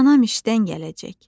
Anam işdən gələcək.